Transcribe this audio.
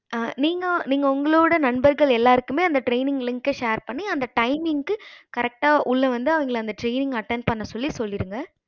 நீங்க உங்களோட நண்பர்கள் எல்லாருக்குமே training link share பண்ணி அந்த timing க்கு correct உள்ள வந்து அந்த training attend பண்ண சொல்லிருங்க